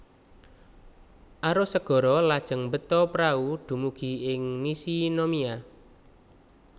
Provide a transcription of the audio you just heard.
Arus segara lajeng mbeta prahu dumugi ing Nishinomiya